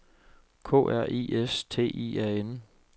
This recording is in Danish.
K R I S T I A N